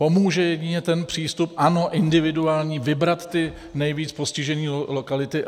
Pomůže jedině ten přístup, ano, individuální, vybrat ty nejvíc postižené lokality.